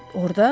Orda?